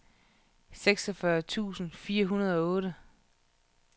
seksogfyrre tusind fire hundrede og otte